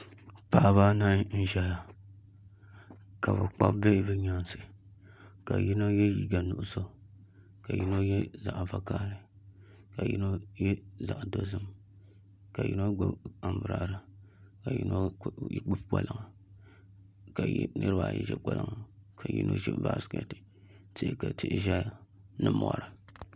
Paɣaba anahi n ʒɛya ka bi kpabi Bihi bi nyaansi ka yino yɛ liiga nuɣso ka yino yɛ zaɣ vakaɣali ka yino yɛ zaɣ dozim ka niraba ayi ʒi kpalaŋa ka yino gbubi baskɛti ka tihi ʒɛya